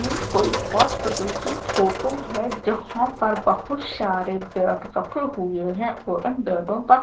ये कोई हॉस्पिटल की फोटो है जहां पर बहुत सारे बेड रखे हुए है और इन बेड़ो पर--